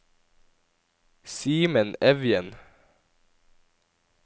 Simen Evjen